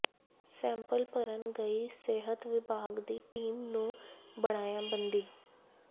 sample ਭਰਨ ਗਈ ਸਿਹਤ ਵਿਭਾਗ ਦੀ ਟੀਮ ਨੂੰ ਬਣਾਇਆ ਬੰਦੀ